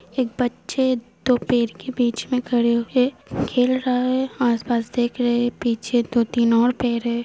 एक बच्चे दो पेड़ के बिच में खड़े होके खेल रहेआसपास देख रहे हैआसपास देख रहा हैपीछे दो-तीन और पेड़ है।